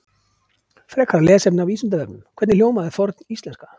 Frekara lesefni á Vísindavefnum: Hvernig hljómaði forníslenska?